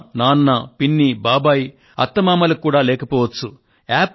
అమ్మ నాన్న పిన్ని బాబాయి అత్త మామలకు కూడా లేకపోవచ్చు